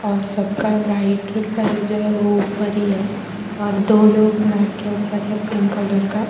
और सबका राइट पैर जो हैं जो हैं वो ऊपर ही हैं और दो लोग मैट के ऊपर हैं पिंक कलर का।